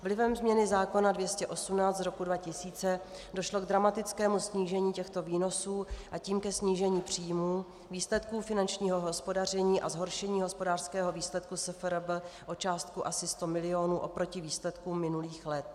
Vlivem změny zákona 218 z roku 2000 došlo k dramatickému snížení těchto výnosů, a tím ke snížení příjmů, výsledků finančního hospodaření a zhoršení hospodářského výsledku SFRB o částku asi 100 milionů oproti výsledkům minulých let.